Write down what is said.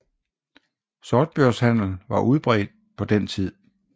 Sortbørshandel var udbredt på den tid